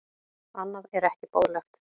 Annað er ekki boðlegt.